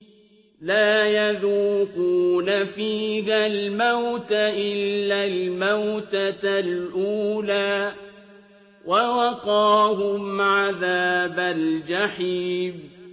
لَا يَذُوقُونَ فِيهَا الْمَوْتَ إِلَّا الْمَوْتَةَ الْأُولَىٰ ۖ وَوَقَاهُمْ عَذَابَ الْجَحِيمِ